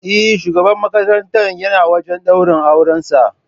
Eh, shugaban makarantar yana wajan daurin auran sa